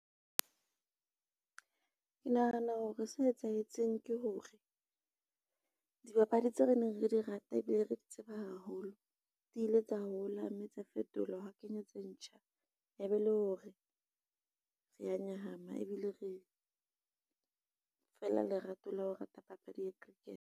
Ke nahana hore se etsahetseng ke hore, dibapadi tseo re neng re di rata ebile re di tseba haholo, di ile tsa hola mme tsa fetolwa hwa kenywa tse ntjha e be le hore re a nyahama ebile re, fela lerato la ho rata papadi ya cricket.